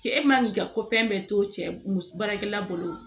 Cɛ man k'i ka ko fɛn bɛɛ to cɛ muso baarakɛla bolo